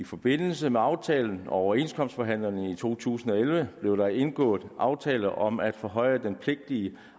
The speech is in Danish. i forbindelse med aftalen og overenskomstforhandlingerne i to tusind og elleve blev der indgået en aftale om at forhøje den pligtige